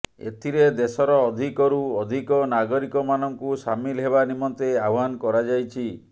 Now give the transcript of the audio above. ଏଥିରେ ଦେଶର ଅଧିକରୁ ଅଧିକ ନାଗରିକମାନଙ୍କୁ ସାମିଲ ହେବା ନିମନ୍ତେ ଆହ୍ୱାନ କରାଯାଇଛି